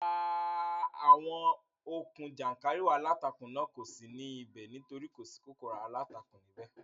Rárá, àwọn okùn jàńkàrìwọ̀ aláǹtakùn náà kò ní sí ní ibẹ̀ nítorí kò sí kòkòrò aláǹtakùn ní ibẹ̀